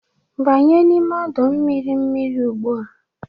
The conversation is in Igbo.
Banye n'ime ọdọ mmiri mmiri ugbu a!